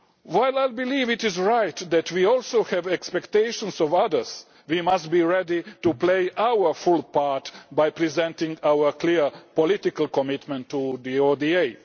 all. While I believe it is right that we also have expectations of others, we must be ready to play our full part by presenting our clear political commitment to